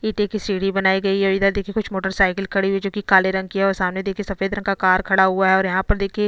ईटे की सीडी बनाई गयी है इधर देखिये कुछ मोटरसायकल खड़ी हुई है जो की काले रंग की हैं और सामने देखिये सफेद रंग का कार खड़ा हुआ है और यहाँ पर देखिये --